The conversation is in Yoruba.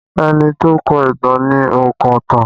Ẹni tó kọ ìtàn ni ònkọ̀tan